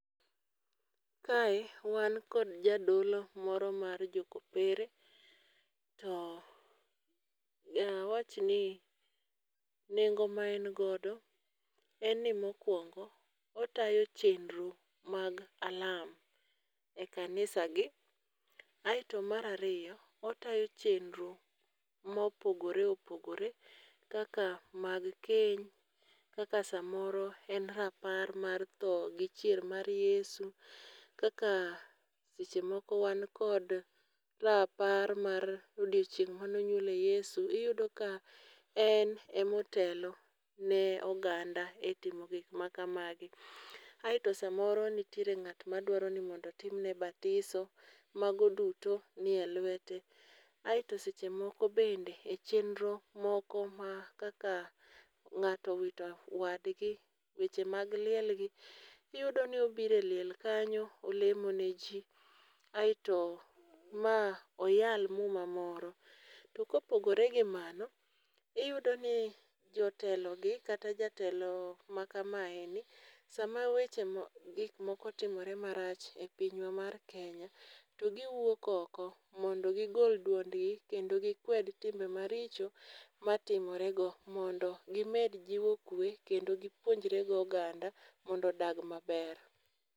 Kae, wan kod jadolo moro mar jokopere to awach ni nengo maen godo en ni mokwongo otayo chenro mag alam e kanisagi. Aeto mar ariyo otayo chenro mopogore opogore kaka mag keny, kaka samoro en rapar mar tho gi chier mar Yesu. Kaka sechemoko wan kod rapar mar odieching' manonyuole Yesu, iyudo ka en emotelo ne oganda e timo gik makamagi. Aeto samoro nitiere ng'at madwaro ni mondo otimne batiso, mago duto ni e lwete. Aeto sechemoko bende, e chenro moko ma kaka ng'ato wito wadgi, weche mag lielgi, iyudo ni obire liel kanyo olemo ne ji. Aeto ma oyal muma moro, tuko pogore gi mano, iyudo ni jotelogi kata jatelo makamae ni, sama weche gik moko timre marach e pinywa mar Kenya, togiwuok oko, mondo gigol duondgi kendo gikwed timbe maricho matimore go. Mondo gimed jiwo kwe kendo gipuonjre gi oganda mondo odag maber.